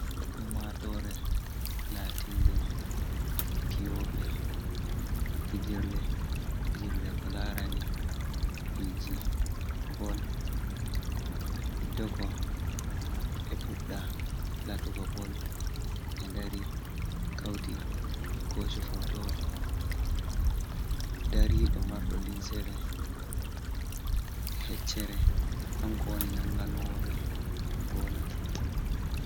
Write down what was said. Ummatoore latinde piyooɓe pijirlee, pijirlee ko laarani piji bol, hiddeko ɓe puɗɗa latuga bol, ɓe dari kauti ɓe kooshi fotowol, dariɗo marɗo limsere he'ccere kanko woni nanga nowo ɓe goola.